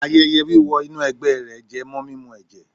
Ayẹyẹ wíwọ inú ẹ̀gbẹ́ rẹ̀ jẹ mọ́ mímu ẹ̀jẹ̀.